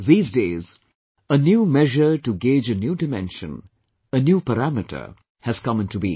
These days, a new measure to gauge a new dimension, a new parameter, has come in to being